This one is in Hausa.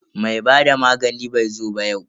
Mai hada magani bai zo ba yau.